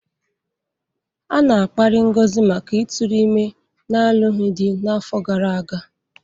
A na-akparị Ngozi maka ịtụrụ ime n'alụghị di afọ gara aga.